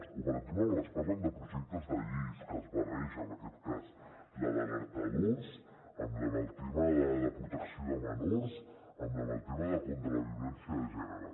o per exemple quan ens parlen de projectes de lleis que barregen en aquest cas la d’alertadors amb la del tema de la protecció de menors amb la del tema contra la violència de gènere